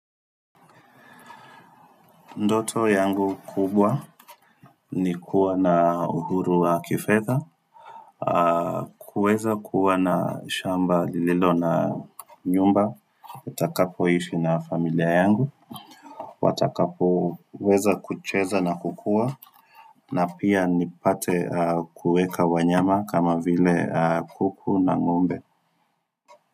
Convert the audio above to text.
Ndoto yangu kubwa ni kuwa na uhuru wa kifedha kuweza kuwa na shamba lililo na nyumba nitakapoishi na familia yangu watakapo weza kucheza na kukua na pia nipate kuweka wanyama kama vile kuku na ngombe.